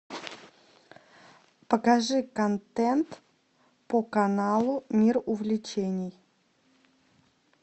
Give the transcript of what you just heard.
покажи контент по каналу мир увлечений